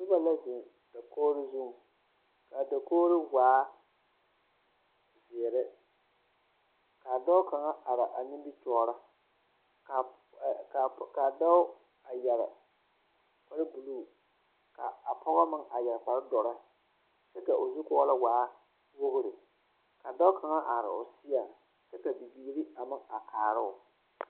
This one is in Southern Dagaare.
Noba la ziŋ dakogro zuŋ a dakogro waa zēēre kaa dɔɔ kaŋa araa a nimitɔɔri kaa pɔg kaa dɔɔ a yɛre kpare bilee kaa pɔge meŋ yɛre kpare dɔre kyɛ ka o zukɔɔlɔŋ waa wogre ka dɔɔ kaŋ are o seɛŋ kyɛ ka bibiiri meŋ are kaaroo.